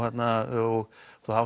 og það hafa